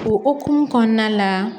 O hukumu kɔnɔna la